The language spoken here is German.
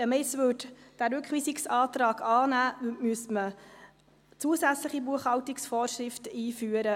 Nähme man jetzt diesen Rückweisungsantrag an, müsste man zusätzliche Buchhaltungsvorschriften einführen.